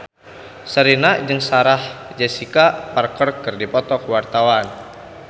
Sherina jeung Sarah Jessica Parker keur dipoto ku wartawan